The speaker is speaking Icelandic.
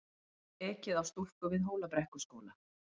Ekið á stúlku við Hólabrekkuskóla